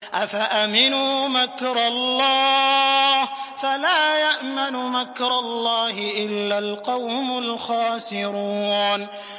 أَفَأَمِنُوا مَكْرَ اللَّهِ ۚ فَلَا يَأْمَنُ مَكْرَ اللَّهِ إِلَّا الْقَوْمُ الْخَاسِرُونَ